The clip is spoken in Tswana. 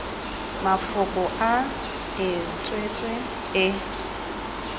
mafoko a e tswetswe e